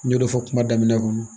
N y'o de fɔ kuma daminɛ kɔnɔ